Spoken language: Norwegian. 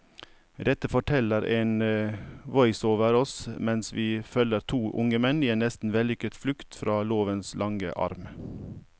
Dette forteller en voiceover oss mens vi følger to unge menn i en nesten vellykket flukt fra lovens lange arm.